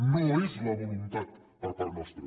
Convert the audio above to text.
no és la voluntat per part nostra